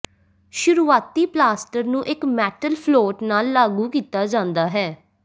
ਸ਼ੁਰੂਆਤੀ ਪਲਾਸਟਰ ਨੂੰ ਇੱਕ ਮੈਟਲ ਫਲੋਟ ਨਾਲ ਲਾਗੂ ਕੀਤਾ ਜਾਂਦਾ ਹੈ